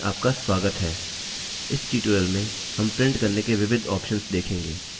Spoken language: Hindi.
इस tutorial में हम प्रिंट करने के विविध options देखेंगे